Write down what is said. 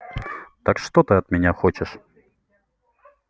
так что ты от меня хочешь